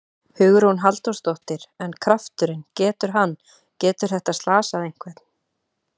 Hugrún Halldórsdóttir: En krafturinn, getur hann, getur þetta slasað einhvern?